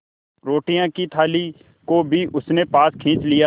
रोटियों की थाली को भी उसने पास खींच लिया